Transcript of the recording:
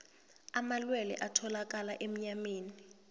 amalwelwe atholakala enyameni